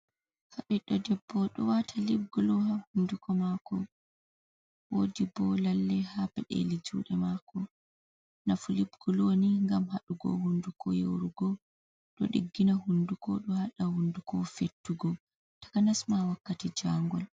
Nda ɓiɗɗo ɗebbo ɗo wati libgulo ha hunduko mako woɗi ɓo lalle ha peɗeli juɗe mako nafu libguloni ngam hadugo hunduko yorugo ɗo diggina hunduko ɗo haɗa hunduko fettugo takanasma wakkati jangol.